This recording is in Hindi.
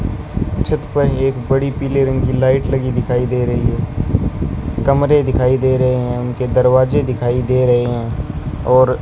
छत पर एक बड़ी पीले रंग की लाइट लगी दिखाई दे रही है कमरे दिखाई दे रहे हैं उनके दरवाजे दिखाई दे रहे हैं और --